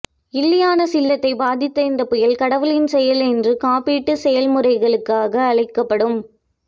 இல்லியானஸ் இல்லத்தை பாதித்த இந்த புயல் கடவுளின் செயல் என்று காப்பீட்டு செயல்முறைகளுக்காக அழைக்கப்படும்